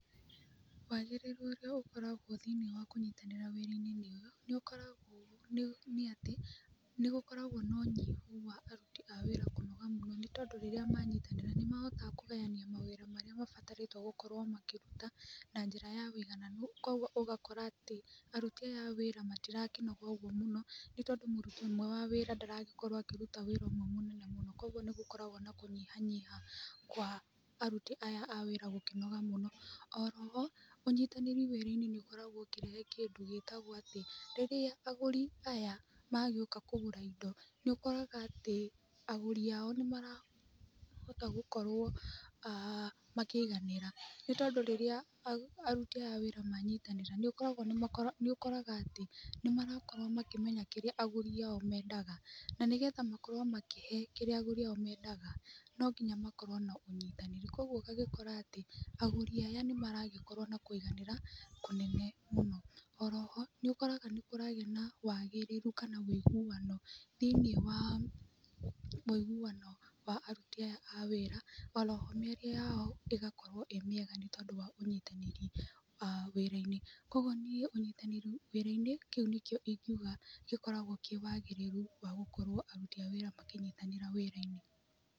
Wagĩrĩru ũrĩa ũkoragwo thĩinĩ wa kũnyitanĩra wĩrai-inĩ nĩ ũkoragwo nĩ atĩ nĩ gũkoragwo na ũnyihu wa aruti a wĩra kũnoga mũno. Nĩ tondũ rĩrĩa manyitanĩra nĩ mahotaga kũgayania mawĩra mabatarĩtwo gũkorwo makĩruta na njĩra ya ũigananu. Koguo ũgakora atĩ aruti aya a wĩra matirakĩnoga ũguo mũno nĩ tondũ mũrutwo ũmwe wa wĩra ndaragĩkorwo akĩruta wĩra ũmwe mũnene mũno. Koguo nĩ gũkoragwo na kũnyihanyiha kwa aruti aya a wĩra gũkĩnoga mũno. Oro ho, ũnyitanĩri wĩra-inĩ nĩ ũkoragwo ũkĩrehe kĩndũ gĩtagwo atĩ rĩrĩa agũri aya magĩũka kũgũra indo, nĩ ũkoraga atĩ agũri ao nĩ marahota gũkorwo makĩiganĩra. Nĩ tondũ rĩrĩa aruti aya a wĩra manyitanĩra nĩ ũkoraga atĩ nĩ marakorwo makĩmenya kĩrĩa agũri aya ao mendaga. Na nĩgetha makorwo makĩhe kĩrĩa agũri ao mendaga no nginya makorwo na ũnyitanĩru. Koguo ũgagĩkora atĩ agũri aya nĩ maragĩkorwo na kũiganĩra kũnene mũno. Oro ho, nĩ ũkoraga nĩ kũragĩa na waagĩrĩru kana ũiguano thĩinĩ wa ũiguano wa aruti aya a wĩra. Oro ho mĩario yao ĩgakorwo ĩĩ mĩega nĩ tondũ wa ũnyitanĩri wa wĩra-inĩ. Koguo niĩ ũnyitanĩru wĩra-inĩ kĩu nĩkĩo ingiuga gĩkoragwo kĩ wagĩrĩru wa gũkorwo aruti a wĩra makĩnyitanĩra wĩra-inĩ.